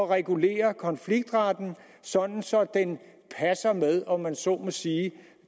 regulere konfliktretten sådan så den passer med om man så må sige